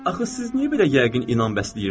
Axı siz niyə belə yəqin inan bəsləyirsiz?